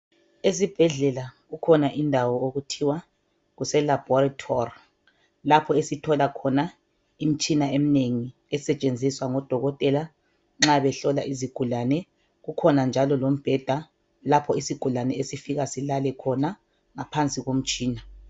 Esibhedlela kukhona indawo okuthiwa kuseLaboratory. Lapho esithola khona imitshina eminengi. Esetshenziswa ngodokotela nxa behlola izigulane. Kukhona njalo lombheda, lapho isigulane esifika silale khona, ngaphansi komtshina.